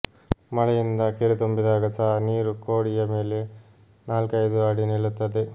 ಮಳೆಯಿಂದ ಕೆರೆ ತುಂಬಿದಾಗ ಸಹ ನೀರು ಕೋಡಿಯ ಮೇಲೆ ನಾಲ್ಕೈದು ಅಡಿ ನಿಲ್ಲುತ್ತದೆ